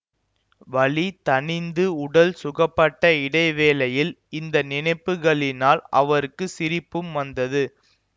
வலி தணிந்து உடல் சுகப்பட்ட இடைவேளையில் இந்த நினைப்புக்களினால் அவருக்கு சிரிப்பும் வந்தது